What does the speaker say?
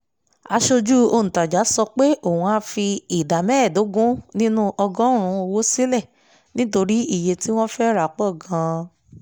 aṣojú òǹtajà sọ pé òun á fi ìdá mẹ́ẹ̀ẹ́dógún nínú ọgọ́rùn-ún owó sílẹ̀ nítorí iye tí wọ́n fẹ́ rà pọ̀ gan-an